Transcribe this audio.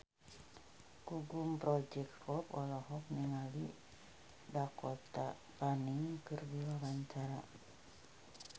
Gugum Project Pop olohok ningali Dakota Fanning keur diwawancara